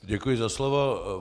Děkuji za slovo.